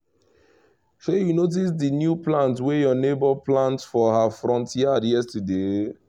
shey you notice the new plant wey your neighbour plant for her front yard yesterday?